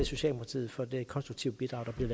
socialdemokratiet for det konstruktive bidrag der bliver